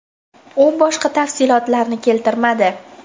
U boshqa tafsilotlarni keltirmadi.